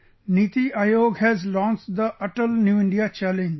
NITI Aayog has launched the Atal New India Challenge